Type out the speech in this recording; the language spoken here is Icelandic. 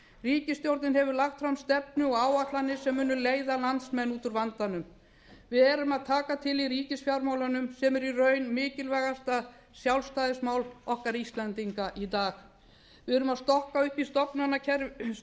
ríkisstjórnin hefur lagt fram stefnu og áætlanir sem munu leiða landsmenn út úr vandanum við erum að taka til í ríkisfjármálunum sem eru í raun mikilvægasta sjálfstæðismál okkar íslendinga í dag við erum að stokka upp